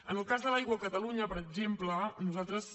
en el cas de l’aigua a catalunya per exemple nosaltres